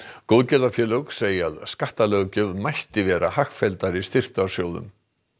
góðgerðafélög segja að skattalöggjöf mætti vera hagfelldari styrktarsjóðum